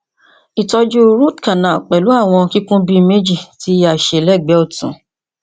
itọju root canal pẹlu awọn kikun bi meji ti a ṣe ni ẹgbẹ ọtun